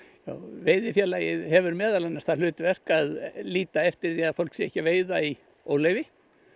veiðifélagið hefur meðal annars það hlutverk að líta eftir því að fólk sé ekki að veiða í óleyfi